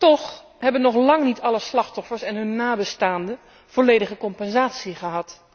Toch hebben nog lang niet alle slachtoffers en hun nabestaanden volledige compensatie gekregen.